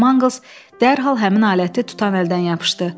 Con Mangls dərhal həmin aləti tutan əldən yapışdı.